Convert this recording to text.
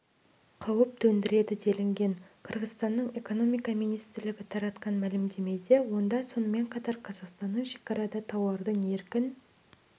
қауіп төндіреді делінген қырғызстанның экономика министрлігі таратқан мәлімдемеде онда сонымен бірге қазақстанның шекарада тауардың еркін